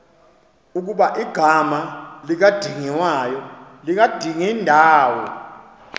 ukuba igama likadingindawo